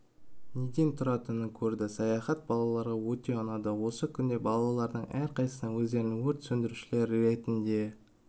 неден тұратынын көрді саяхат балаларға өте ұнады осы күнде балалардың әрқайсысы өздерін өрт сөндірушілер ретінде